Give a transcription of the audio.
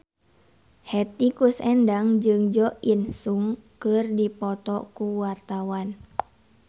Hetty Koes Endang jeung Jo In Sung keur dipoto ku wartawan